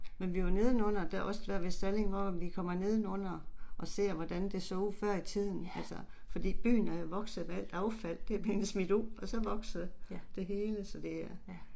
Men vi var nedenunder der også der ved Salling hvor vi kommer nedenunder og ser, hvordan det så ud før i tiden altså, fordi byen er jo vokset med alt affald der er blevet smidt ud og så vokser det hele, så det